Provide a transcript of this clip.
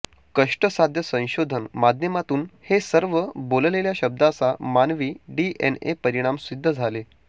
कष्टसाध्य संशोधन माध्यमातून हे सर्व बोललेल्या शब्दांचा मानवी डीएनए परिणाम सिद्ध झाले